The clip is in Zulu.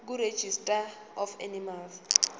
kuregistrar of animals